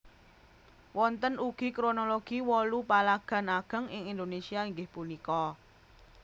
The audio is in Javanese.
Wonten ugi kronologi wolu palagan ageng ing Indonesia inggih punika